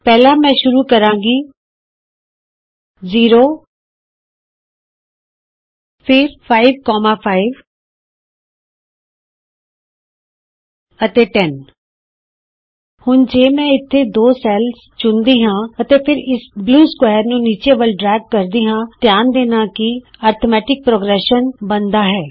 ਪਹਿਲਾਂ ਮੈਂ ਸ਼ੁਰੂ ਕਰਾਂਗੀ160 0 ਫਿਰ 55 ਅਤੇ 10 ਹੁਣ ਜੇ ਮੈਂ ਇਥੇ ਦੋ ਸੈਲਜ਼ ਚੁਣਦੀ ਹਾਂ ਅਤੇ ਫਿਰ ਇਸ ਨੀਲੇ ਸਕੁਏਰ ਨੂੰ ਨੀਚੇ ਵਲ ਡਰੇਗ ਕਰਦੀ ਹਾਂ ਧਿਆਨ ਦੇਣਾ ਕਿ ਅੰਕਗਣਿਤ ਦਾ ਇਕ ਅਨੁਕ੍ਰਮ ਬਣਦਾ ਹੈ